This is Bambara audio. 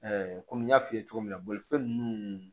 kɔmi n y'a f'i ye cogo min na bolifɛn ninnu